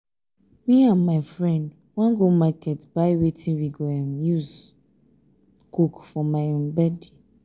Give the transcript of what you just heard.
me and my friend wan go market buy wetin we go um use um cook for my um birthday